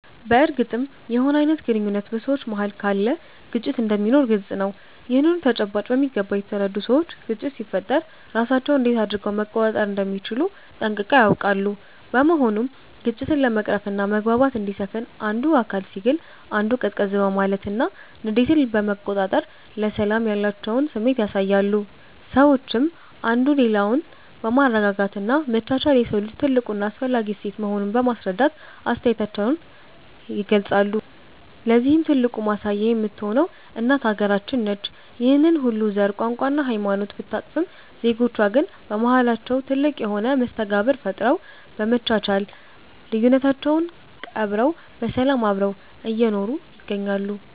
በርግጥም የሆነ አይነት ግንኙነት በ ሰዎች መሃል ካለ ግጭት እንደሚኖር ግልፅ ነው። ይህንኑ ተጨባጭ በሚገባ የተረዱ ሰዎች ግጭት ሲፈጠር ራሳቸውን እንዴት አድረገው መቆጣጠር እንደሚችሉ ጠንቅቀው ያውቃሉ። በመሆኑም ግጭትን ለመቅረፍና መግባባት እንዲሰፍን አንዱ አካል ሲግል አንዱ ቀዝቀዝ በማለትና ንዴትን በመቆጣጠር ለሰላም ያላቸውን ስሜት ያሳያሉ። ሰዎችም አንዱ ሌላውን በማረጋጋት እና መቻቻል የሰው ልጅ ትልቁ እና አስፈላጊ እሴት መሆኑን በማስረዳት አስተያየታቸውን ይገልፃሉ። ለዚህም ትልቁ ማሳያ የምትሆነው እናት ሃገራችን ነች። ይህንን ሁሉ ዘር፣ ቋንቋ እና ሃይማኖት ብታቅፍም ዜጎቿ ግን በማሃላቸው ትልቅ የሆነ መስተጋብር ፈጥረው፤ በመቻቻል ልዩነታቸውን ቀብረው በሰላም አብረው እየኖሩ ይገኛሉ።